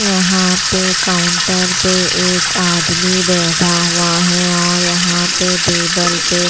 यहाँ पे काउंटर पे एक आदमी बैठा हुआ है और यहाँ पे टेबल पर--